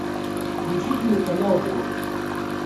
включи телеканал дождь